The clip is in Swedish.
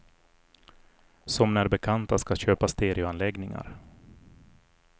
Som när bekanta ska köpa stereoanläggningar.